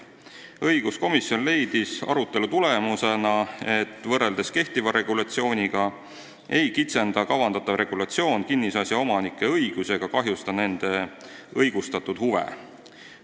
Õiguskomisjon leidis arutelu tulemusena, et võrreldes kehtiva regulatsiooniga ei kitsenda kavandatav regulatsioon kinnisasja omanike õigusi ega kahjusta nende õigustatud huve.